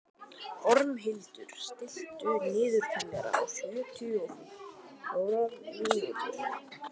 Ormhildur, stilltu niðurteljara á sjötíu og fjórar mínútur.